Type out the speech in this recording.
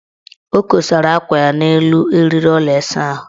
O kosara akwa ya n' elu eriri ụlọ ịsaahụ.